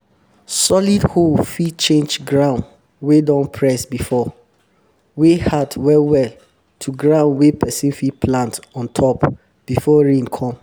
solid hoe fit change ground wey don press before; wey hard well well to ground wey person fit plant on top before rain come